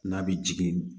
N'a bɛ jigin